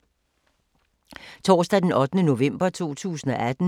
Torsdag d. 8. november 2018